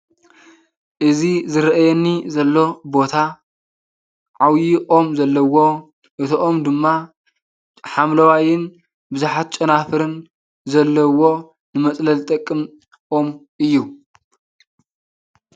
እዚ ዝረኣየኒ ዘሎ ቦታ ዓብዪ ኦም ዘለዎ እቲኦም ድማ ሓምለዋይን ብዙሓት ጨናፍርን ዘለዎ ንመፅለሊ ዝጠቅም ኦም እዩ ።